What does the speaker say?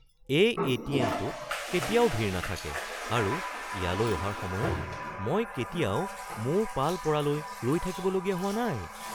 এই এ.টি.এম.টোত কেতিয়াও ভিৰ নাথাকে আৰু ইয়ালৈ অহাৰ সময়ত মই কেতিয়াও মোৰ পাল পৰালৈ ৰৈ থাকিবলগীয়া হোৱা নাই।